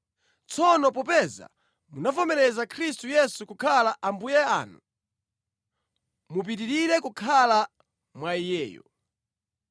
Tsono popeza munavomereza Khristu Yesu kukhala Ambuye anu, mupitirire kukhala mwa Iyeyo.